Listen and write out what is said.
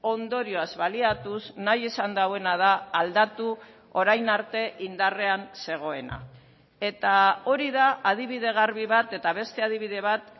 ondorioz baliatuz nahi izan duena da aldatu orain arte indarrean zegoena eta hori da adibide garbi bat eta beste adibide bat